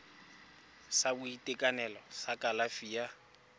sa boitekanelo sa kalafi ya